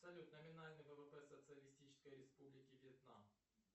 салют номинальный ввп социалистической республики вьетнам